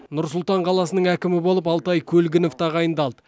нұр сұлтан қаласының әкімі болып алтай көлгінов тағайындалды